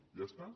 i ja està